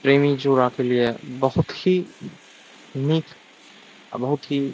प्रेमी जोड़ा के लिए बहुत ही निक आ बहुत ही --